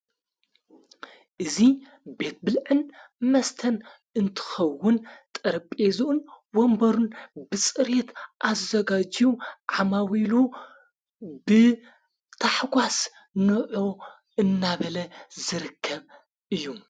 እዙይ ቤት ብልዕን መስተን እንትኸውን ጥርጴዝኡን ወንበሩን ብጽሬየት ኣዘጋዡ ዓማዊሉ ብታሕጓስ ኖዑ እናበለ ዝርከብ እዩ።